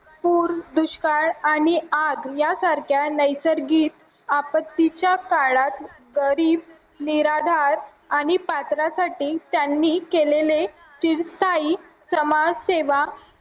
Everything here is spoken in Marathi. दुष्काळ आणि आग यासारख्या नैसर्गिक आपत्तीच्या काळात निराधार आणि पात्रासाठी त्यांनी केलेले समाजसेवा